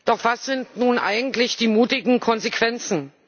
Doch was sind nun eigentlich die mutigen Konsequenzen?